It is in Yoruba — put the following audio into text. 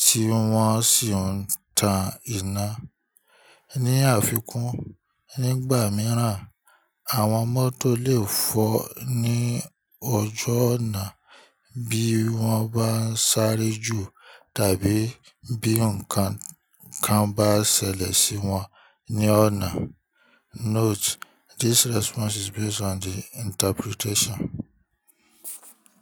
tí wọ́n sì ń tan iná. Ni àfikún, nígbà mìíràn, àwọn mọ́tò lè fọ́ ní ọjọ́ ọ̀nà bí wọ́n bá ń sáré jù tàbí bí nǹkan kan bá ṣẹlẹ̀ sí wọn ní ọ̀nà. Note: This response is based on the interpretation.